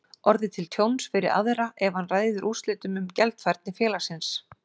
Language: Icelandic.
orðið til tjóns fyrir aðra ef hann ræður úrslitum um gjaldfærni félagsins.